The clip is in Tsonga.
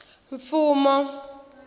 mfumo